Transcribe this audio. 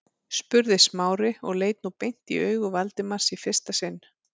spurði Smári og leit nú beint í augu Valdimars í fyrsta sinn.